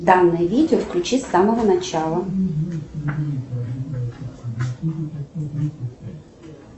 данное видео включи с самого начала